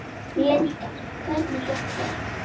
Linda: Hvernig gekk þér?